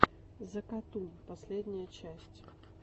закатун последняя часть